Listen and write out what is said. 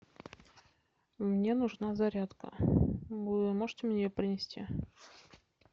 мне нужна зарядка можете мне ее принести